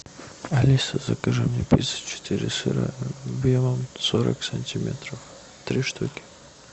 алиса закажи мне пиццу четыре сыра объемом сорок сантиметров три штуки